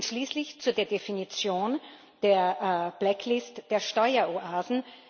Schließlich zu der Definition der blacklist der Steueroasen.